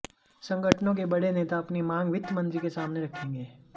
संगठनों के बड़े नेता अपनी मांग वित्त मंत्री के सामने रखेंगे